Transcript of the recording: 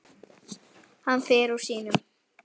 Hann fer úr sínum.